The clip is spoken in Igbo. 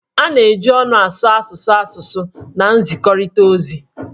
A na-eji ọnụ asụ asụsụ asụsụ na nzikọrịta ozi